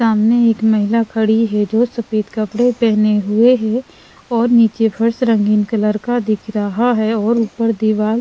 सामने एक महिला खड़ी है जो सफेद कपड़े पहने हुए हैं और नीचे फर्श रंगीन कलर का दिख रहा है और ऊपर दीवार--